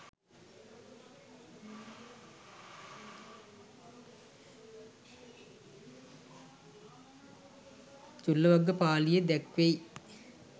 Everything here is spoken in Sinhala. චුල්ලවග්ගපාලියේ දැක්වෙයි.